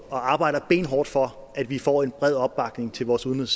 og arbejder benhårdt for at vi får en bred opbakning til vores udenrigs